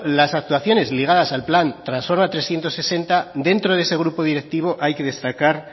las actuaciones ligadas al plan transforma trescientos sesenta dentro de ese grupo directivo hay que destacar